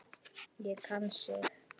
Og kann sig.